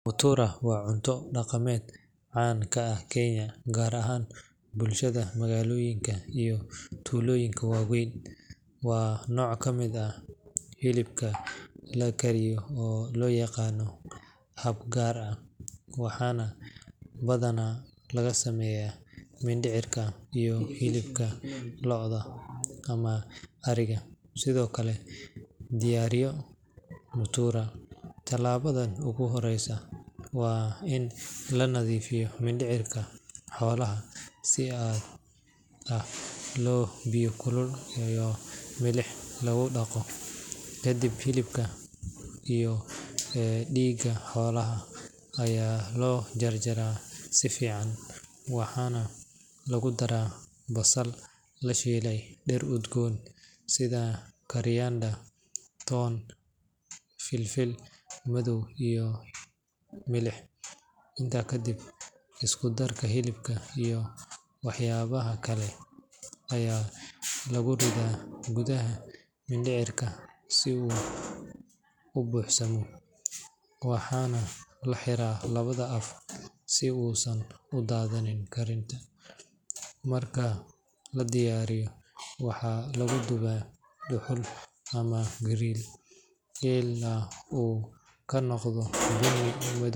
Mutura waa cunto dhaqameed caan ka ah Kenya, gaar ahaan bulshada magaalooyinka iyo tuulooyinka waaweyn. Waa nooc ka mid ah hilibka la kariyo oo loo diyaariyo hab gaar ah, waxana badanaa laga sameeyaa mindhicirka iyo hilibka lo’da ama ariga. Si loo diyaariyo mutura, tallaabada ugu horreysa waa in la nadiifiyo mindhicirka xoolaha si aad ah oo biyo kulul iyo milix lagu dhaqo. Kadib, hilibka iyo dhiigga xoolaha ayaa la jarjaraa si fiican, waxaana lagu daraa basal la shiiday, dhir udgoon sida koriander, toon, filfil madow iyo milix. Intaa kadib, isku darka hilibka iyo waxyaabaha kale ayaa lagu ridaa gudaha mindhicirka si uu u buuxsamo, waxaana la xiraa labada af si uusan u daadan karin. Marka la diyaariyo, waxaa lagu dubaa dhuxul ama grill ilaa uu ka noqdo bunni .